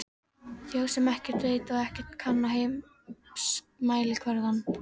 Þjóð sem ekkert veit og ekkert kann á heimsmælikvarðann.